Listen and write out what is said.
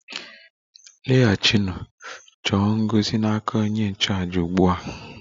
Laghachinụ chọọ ngọzi n' aka onye nchụàjà ugbu a!